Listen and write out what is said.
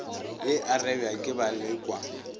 ye e arabja ke balekwa